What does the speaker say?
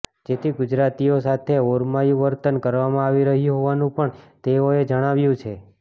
જેથી ગુજરાતીઓ સાથે ઓરમાયંુ વર્તન કરવામાં આવી રહ્યું હોવાનું પણ તેઓએ જણાવ્યું છે